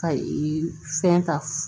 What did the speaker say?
Ka ee fɛn ta